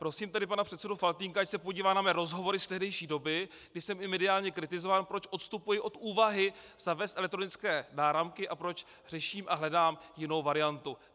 Prosím tedy pana předsedu Faltýnka, ať se podívá na mé rozhovory z tehdejší doby, kdy jsem i mediálně kritizován, proč odstupuji od úvahy zavést elektronické náramky a proč řeším a hledám jinou variantu.